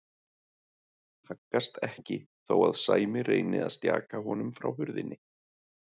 Haggast ekki þó að Sæmi reyni að stjaka honum frá hurðinni.